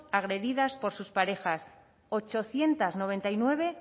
agredidas por sus parejas ochocientos noventa y nueve